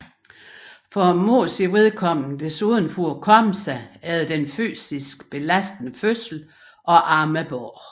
For moderens vedkommende desuden for at komme sig efter den fysisk belastende fødsel og amme barnet